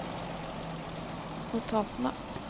notatene